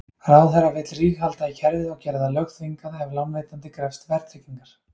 Ráðherra vill ríghalda í kerfið og gera það lögþvingað ef lánveitandi krefst verðtryggingar.